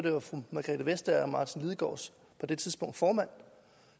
margrethe vestager martin lidegaards formand